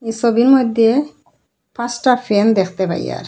সোবির মইধ্যে পাঁসটা ফ্যান দেখতে পাইয়ার।